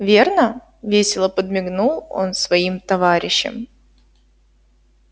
верно весело подмигнул он своим товарищам